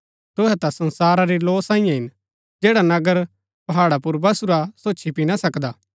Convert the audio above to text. तुहै ता संसारा री लौ सांईयै हिन जैडा नगर पहाड़ा पुर बसुरा सो छिपी ना सकदा